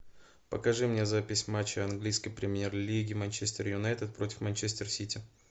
покажи мне запись матча английской премьер лиги манчестер юнайтед против манчестер сити